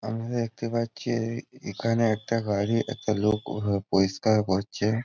আমি দেখতে পাচ্ছি এ এখানে একটা গাড়ি একটা লোক পরিষ্কার করছে।